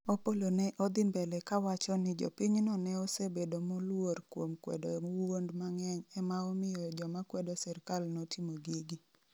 Opollo ne odhi mbele kawacho ni jopinyno ne osebedo moluor kuom kwedo wuond mang'eny ema omiyo jomakwedo sirikal notimo gigi